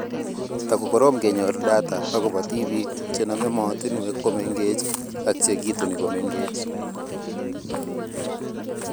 Takokorom kenyor data akobo tibiik chenome mootinwek komengech ak chekituni komengech